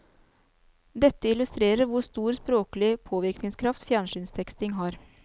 Dette illustrerer hvor stor språklig påvirkningskraft fjernsynsteksting har.